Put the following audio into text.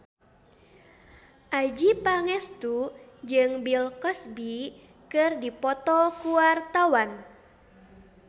Adjie Pangestu jeung Bill Cosby keur dipoto ku wartawan